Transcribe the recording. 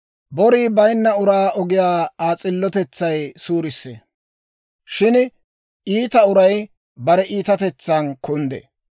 Borii bayinna uraa ogiyaa Aa s'illotetsay suurissee; shin iita uray bare iitatetsan kunddee.